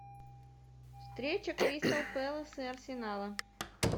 встреча кристал пэлас и арсенала